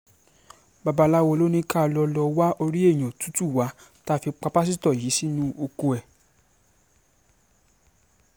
babaláwo ló ní ká lọ́ọ́ lọ́ọ́ wá orí èèyàn tútù wa tá a fi pa pásítọ̀ yìí sínú oko ẹ̀